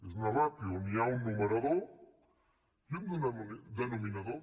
és una ràtio on hi ha un numerador i un denominador